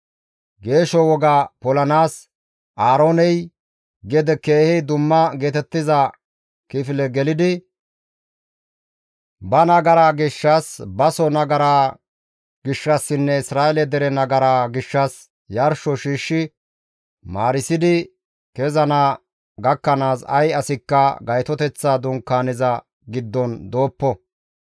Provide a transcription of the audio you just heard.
Geesho woga polanaas Aarooney keehi dumma geetettiza kifileza gelidi ba nagara gishshas, baso asaa nagara gishshassinne Isra7eele dere nagaraa gishshas yarsho shiishshi maarisidi kezana gakkanaas ay asikka Gaytoteththa Dunkaaneza giddon dooppo.